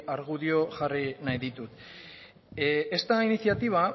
argudio jarri nahi ditut esta iniciativa